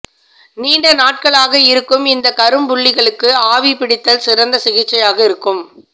நீண்ட நாட்களாக இருக்கும் இந்த கரும்புள்ளிகளுக்கு ஆவி பிடித்தல் சிறந்த சிகிச்சையாக இருக்கும்